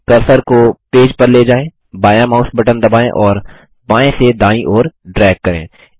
cursor को page पर ले जाएँ बायाँ माउस बटन दबाएँ और बायें से दायीं ओर ड्रैग करें